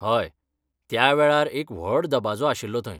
हय, त्या वेळार एक व्हड दबाजो आशिल्लो थंय.